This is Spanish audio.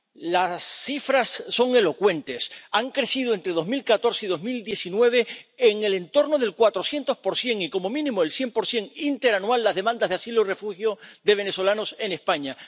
Las cifras son elocuentes. Han aumentado entre 2014 y 2019 en el entorno del 400 y, como mínimo, el 100 interanual las demandas de asilo o refugio de venezolanos en España.